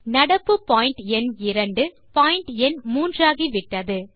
நடப்பு பாயிண்ட் எண் இரண்டு பாயிண்ட் எண் 3 ஆகிவிட்டது